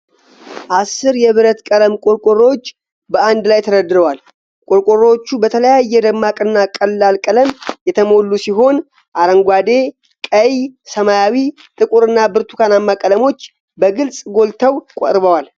አስር የብረት ቀለም ቆርቆሮዎች በአንድ ላይ ተደርድረዋል። ቆርቆሮዎቹ በተለያየ ደማቅና ቀላል ቀለም የተሞሉ ሲሆን፣ አረንጓዴ፣ ቀይ፣ ሰማያዊ፣ ጥቁር እና ብርቱካናማ ቀለሞች በግልጽ ጎልተው ቀርበዋል።